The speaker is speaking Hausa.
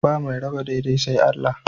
Ba mai raba daidai sai Allah.